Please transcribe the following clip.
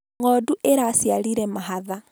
Ng'ondu ĩraciarire mahatha